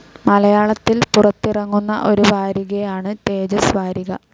മലയാളത്തിൽ പുറത്തിറങ്ങുന്ന ഒരു വാരികയാണ് തേജസ് വാരിക.